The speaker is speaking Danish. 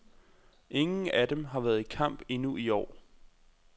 Ingen af dem har været i kamp endnu i år.